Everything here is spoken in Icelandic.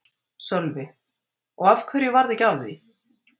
Sölvi: Og af hverju varð ekki af því?